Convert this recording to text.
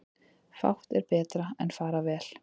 Fátt er betra en fara vel.